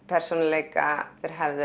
persónuleika þeir hefðu